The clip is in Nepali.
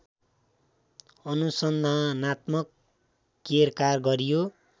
अनुसन्धानात्मक केरकार गरियो